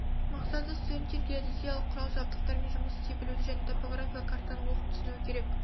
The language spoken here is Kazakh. мақсаты студенттер геодезиялық құрал жабдықтармен жұмыс істей білуді және топографиялық картаны оқып түсінуі керек